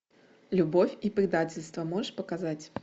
любовь и предательство можешь показать